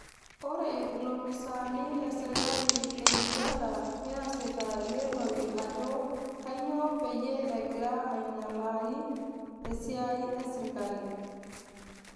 Ore ilopiisaani le sirkali e Uganda neesita eleenore ajo kanyio peyio egira ainyialaa esiai esirkali